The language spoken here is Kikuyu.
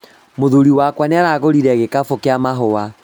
Mũthuri wakwa nĩaragũrire gĩkabũ kĩa mahũa